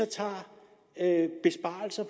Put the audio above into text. tager